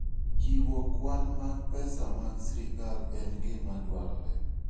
Chiwo kwan mag pesa mag sirkal en gima dwarore.